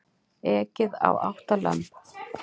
Ekið á átta lömb